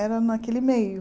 Era naquele meio.